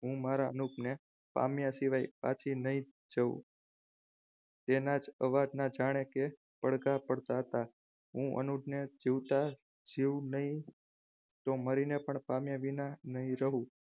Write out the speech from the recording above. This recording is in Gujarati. હું મારા અનુપને પામ્યા સિવાય પાછી નહીં જવું તેના જ અવાજના જાણી કે પડઘા પડતા હતા. હું અનુપને જીવતા જીવ નહીં મળીને પણ પામ્યા વિના નહીં રહું.